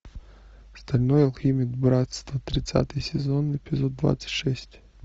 стальной алхимик братство тридцатый сезон эпизод двадцать шесть